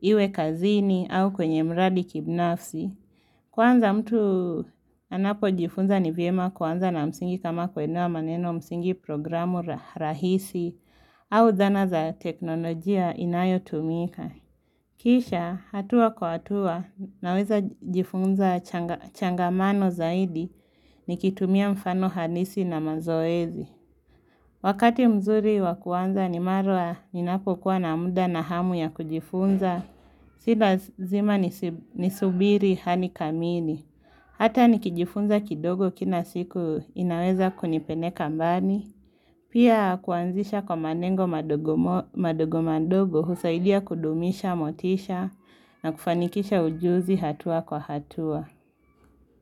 iwe kazini au kwenye miradi kibinafsi. Kwanza mtu anapojifunza ni vyema kuanza na msingi kama kuelewa maneno msingi programu rahisi au zana za teknolojia inayotumika. Kisha hatua kwa hatua naweza jifunza changamano zaidi nikitumia mfano halisi na mazoezi. Wakati mzuri wa kuanza ni mara ninapokuwa na muda na hamu ya kujifunza si lazima nisubiri hali kamili. Hata nikijifunza kidogo kila siku inaweza kunipeleka mbali. Pia kuanzisha kwa malengo madogo madogo madogo husaidia kudumisha motisha na kufanikisha ujuzi hatua kwa hatua.